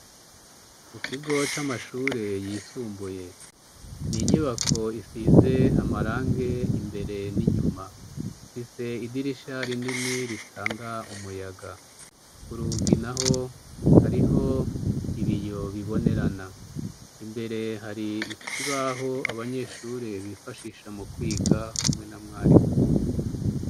Mu kigo c'amashure yisumbuye, ninyibako isize amarange imbere n'inyuma, ifise idirisha rinini ritanga umuyaga, kurugi naho hariho ibiyo bibonerana, imbere hari ikibaho abanyeshure bifashisha mu kwiga hamwe na mwarimu.